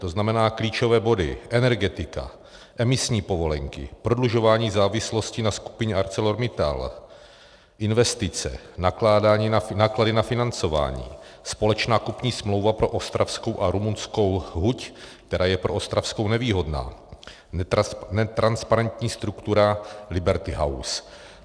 To znamená klíčové body, energetika, emisní povolenky, prodlužování závislosti na skupině ArcelorMittal, investice, náklady na financování, společná kupní smlouva pro ostravskou a rumunskou huť, která je pro ostravskou nevýhodná, netransparentní struktura Liberty House.